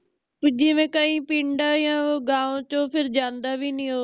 ਵੀ ਜਿਵੇ ਕਈ ਪਿੰਡਾਂ ਯਾ ਗਾਂਵ ਚੋ ਫਿਰ ਜਾਂਦਾ ਵੀ ਨਹੀਂ ਓ